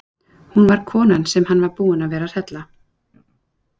Hún var konan sem hann var búinn að vera að hrella!